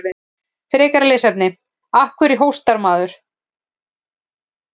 Frekara lesefni: Af hverju hóstar maður?